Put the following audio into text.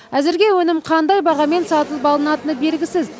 әзірге өнім қандай бағамен сатылып алынатыны белгісіз